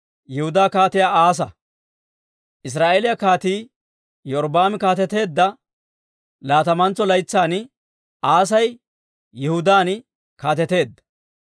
Israa'eeliyaa Kaatii Iyorbbaami kaateteedda laatamantso laytsan Aasi Yihudaan kaateteedda.